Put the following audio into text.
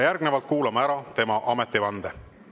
Järgnevalt kuulame ära tema ametivande.